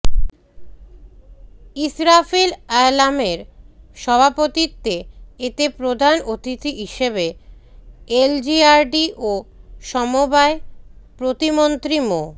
ইসরাফিল আলমের সভাপতিত্বে এতে প্রধান অতিথি হিসেবে এলজিআরডি ও সমবায় প্রতিমন্ত্রী মো